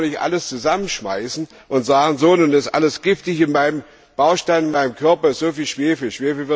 Da kann man nicht alles zusammenschmeißen und sagen So, nun ist alles giftig, in meinem Baustein, in meinem Körper ist so viel Schwefel.